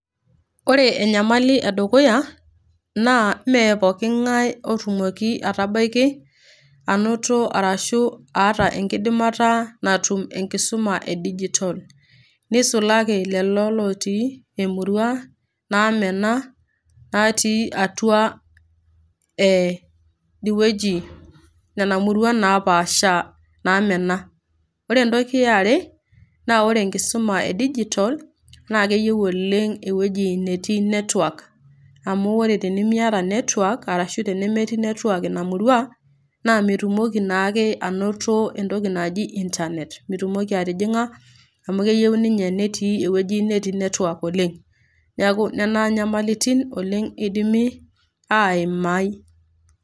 Ore enyamali e dukuya naa mee pookingai otumoki aitabaiki anoto ashu aata enkidimata natum enkisuma e digitol, neisulaki lelo lotii imurua namena natii atua idie wueji nena murua napaasha namena. Ore entoki e are naa ore enkisuma e digitol, naa keiyiu oleng' ewueji natii network, amu ore tenimiata network ashu yenemetii network Ina murua naa mitumoki naake ainoto entoki naji internet mitumoki atijing'a amu keyou ninye netii ewueji natii network oleng'. Neaku nena nyamalitin oleng' eidimi aimai.